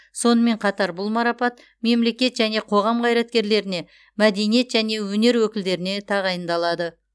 сонымен қатар бұл марапат мемлекет және қоғам қайраткерлеріне мәденеиет және өнер өкілдеріне тағайындалады